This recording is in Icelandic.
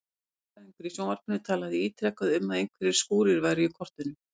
Veðurfræðingur í sjónvarpinu talaði ítrekað um að einhverjir skúrir væru í kortunum.